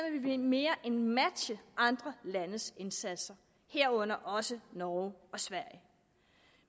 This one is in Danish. vi mere end matche andre landes indsatser herunder også norges og sveriges